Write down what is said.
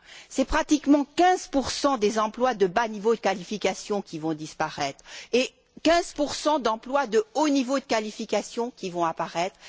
C'est pratiquement 15 des emplois de bas niveau de qualification qui vont disparaître et 15 d'emplois de haut niveau de qualification qui vont apparaître.